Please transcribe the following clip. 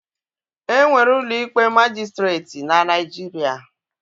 E nwere ụlọ ikpe majịstreetị na Naijiria